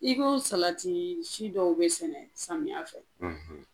I ko salatii si dɔw bɛ sɛnɛ samiya fɛ.